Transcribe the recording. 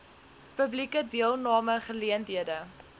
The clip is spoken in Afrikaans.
publieke deelname geleenthede